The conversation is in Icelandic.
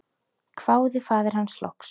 hváði faðir hans loks.